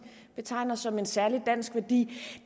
betegner som en særlig dansk værdi